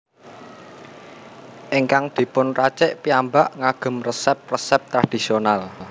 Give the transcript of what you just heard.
Ingkang dipun racik piyambak ngagem resep resep tradisional